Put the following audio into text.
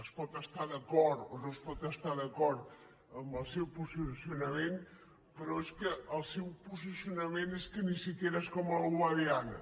es pot estar d’acord o no es pot estar d’acord amb el seu posicionament però és que el seu posicionament ni tan sols és com el guadiana